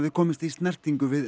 komist í snertingu við